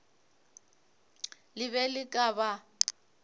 le be le ka ba